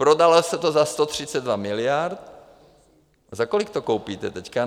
Prodalo se to za 132 miliard, za kolik to koupíte teď?